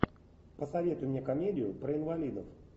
посоветуй мне комедию про инвалидов